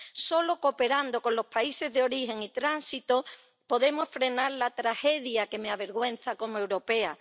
Solo cooperando con los países de origen y tránsito podemos frenar la tragedia que me avergüenza como europea.